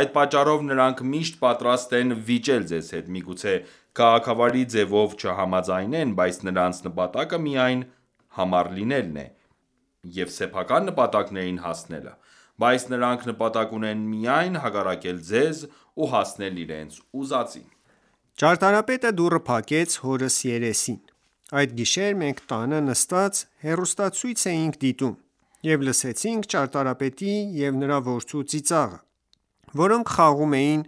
Այդ պատճառով նրանք միշտ պատրաստ են վիճել ձեզ հետ: Միգուցե քաղաքավարի ձևով չհամաձայնեն, բայց նրանց նպատակը միայն համառ լինելն է և սեփական նպատակներին հասնելը, բայց նրանք նպատակ ունեն միայն հակառակել ձեզ, ու հասնել իրենց ուզածին։ Պատմող-Ճարտարապետը դուռը փակեց հորս երեսին: Այդ գիշեր մենք տանը նստած հեռուստացույց էինք դիտում, և լսեցինք ճարտարապետի և նրա որդու ծիծաղը, որոնք խաղում էին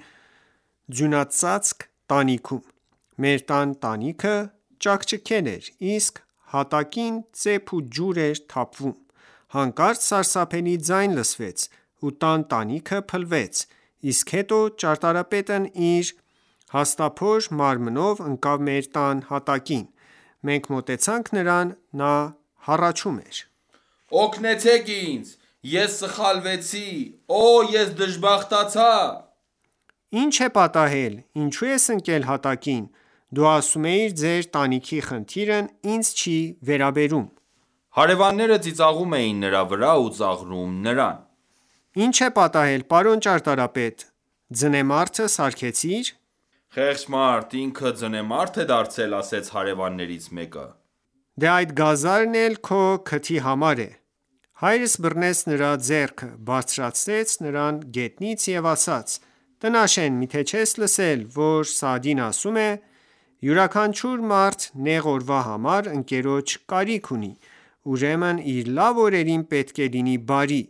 ձյունածածկ տանիքում։ Մեր տան տանիքը ճաքճքել էր, իսկ հատակին ծեփ ու ջուր էր թափվում։ Հանկարծ սարսափելի ձայն լսվեց, ու տան տանիքը փլվեց, իսկ հետո ճարտարապետն իր հաստափոր մարմնով ընկավ մեր տան հատակին։ Մենք մոտեցանք նրան։ Նա հառաչում էր: Օգնեցեք ինձ, ես սխալվեցի։ Օ՜, ես դժբախտացա։ Ինչ է պատահել, ինչո՞ւ ես ընկել հատակին։ Դու ասում էիր ձեր տանիքի խնդիրն ինձ չի վերաբերում: Պատմող-Հարևանները ծիծաղում էին նրա վրա ու ծաղրում նրան։ Ի՞նչ է պատահել պարոն ճարտարապետ։ Ձնեմարդը սարքեցի՞ր։ Հարևաններից մեկը-Խեղճ մարդ։ Ինքը ձնեմարդ է դարձել։ Մյուս հարևանը: Դե, այս գազարն էլ քո քթի համար է: Հայրս բռնեց նրա ձեռքը, բարձրացրեց նրան գետնից և ասաց. -Տնաշեն .մի՞թե չես լսել, որ Սաադին ասում է.«Յուրաքանչյուր մարդ նեղ օրվա համար ընկերոջ կարիք ունի, ուրեմն իր լավ օրերին պետք է լինի բարի,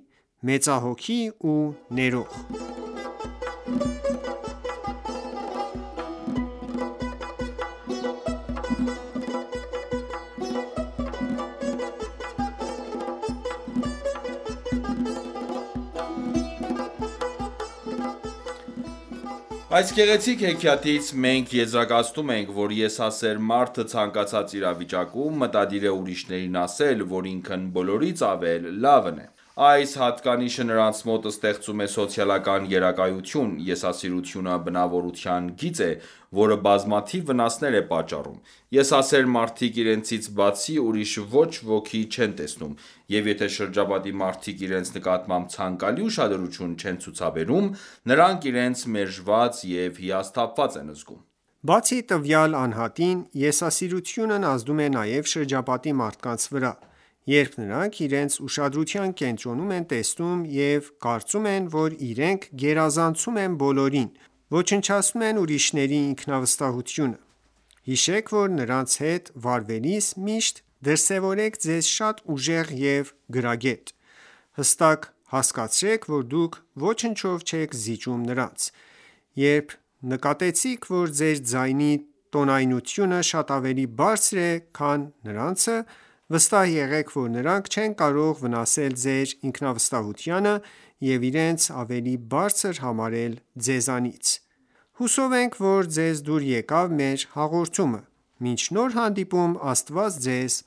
մեծահոգի ու ներող»: Հաղորդավար-Այս գեղեցիկ հեքիաթից մենք եզրակացնում ենք, որ եսասեր մարդը ցանկացած իրավիճակում մտադիր է ուրիշներին ասել, որ ինքն բոլորից ավելի լավն է: Այս հատկանիշը նրանց մոտ ստեղծում է սոցիալական գերակայություն։ Եսասիրությունը բնավորության գիծ է, որը բազմաթիվ վնասներ է պատճառում։ Եսասեր մարդիկ իրենցից բացի ուրիշ ոչ ոքի չեն տեսնում, և եթե շրջապատի մարդիկ իրենց նկատմամբ ցանկալի ուշադրություն չեն ցուցաբերում, նրանք իրենց մերժված և հիասթափված են զգում: Բացի տվյալ անհատին, եսասիրությունն ազդում է նաև շրջապատի մարդկանց վրա: Երբ նրանք իրենց ուշադրության կենտրոնում են տեսնում և կարծում են, որ իրենք գերազանցում են բոլորին, ոչնչացնում են ուրիշների ինքնավստահությունը։ Հիշեք, որ նրանց հետ վարվելիս միշտ դրսևորեք ձեզ շատ ուժեղ և գրագետ: Հստակ հասկացրեք, որ դուք ոչնչով չեք զիջում նրանց: Երբ նկատեցիք, որ ձեր ձայնի տոնայնությունը շատ ավելի բարձր է, քան նրանցը, վստահ եղեք, որ նրանք չեն կարող վնասել ձեր ինքնավստահությանը և իրենց ավելի բարձր համարել ձեզանից։ Հուսով ենք, ձեզ դուր եկավ մեր հաղորդումը։ Մինչ նոր հանդիպում Աստված Ձեզ